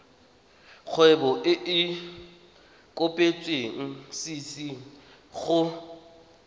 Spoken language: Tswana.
kgwebo e e kopetswengcc go